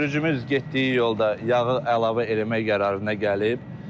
Sürücümüz getdiyi yolda yağı əlavə eləmək qərarına gəlib.